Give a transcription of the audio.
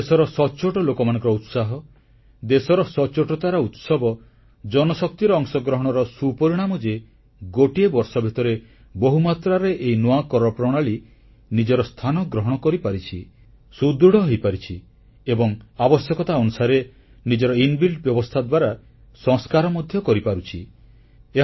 କିନ୍ତୁ ଦେଶର ସଚ୍ଚୋଟ ଲୋକମାନଙ୍କର ଉତ୍ସାହ ଦେଶର ସଚ୍ଚୋଟତାର ଉତ୍ସବ ଜନଶକ୍ତିର ଅଂଶଗ୍ରହଣର ସୁପରିଣାମ ଯେ ଗୋଟିଏ ବର୍ଷ ଭିତରେ ବହୁ ମାତ୍ରାରେ ଏହି ନୂଆ କର ପ୍ରଣାଳୀ ନିଜର ସ୍ଥାନ ଗ୍ରହଣ କରିପାରିଛି ସୁଦୃଢ଼ ହୋଇପାରିଛି ଏବଂ ଆବଶ୍ୟକତା ଅନୁସାରେ ନିଜର ଅନ୍ତଃବ୍ୟବସ୍ଥାପନା ଇନବିଲ୍ଟ ଦ୍ୱାରା ସଂସ୍କାର ମଧ୍ୟ କରିପାରୁଛି